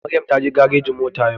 Maryam taje garejin mota yau